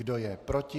Kdo je proti?